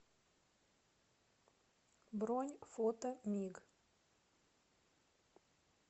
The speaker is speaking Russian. бронь фото миг